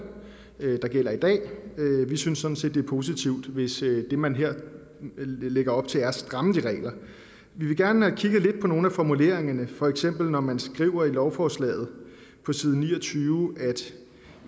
der gælder i dag vi synes sådan set er positivt hvis det man her lægger op til er at stramme de regler vi vil gerne kigge lidt på nogle af formuleringerne for eksempel når man skriver i lovforslaget på side ni og tyve at